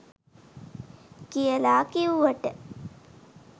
කියලා කිව්වට